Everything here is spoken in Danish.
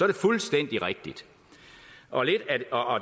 det fuldstændig rigtigt og